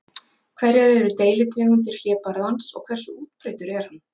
Hverjar eru deilitegundir hlébarðans og hversu útbreiddur er hann?